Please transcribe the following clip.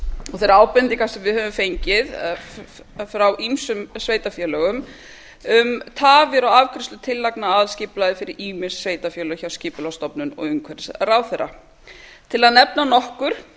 og þeirrar ábendingar sem við höfum fengið frá ýmsum sveitarfélögum um tafir á afgreiðslu tillagna að aðalskipulagi fyrir ýmis sveitarfélög hjá skipulagsstofnun og umhverfisráðherra til að nefna nokkur